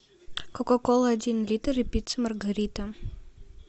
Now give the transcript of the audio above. кока кола один литр и пицца маргарита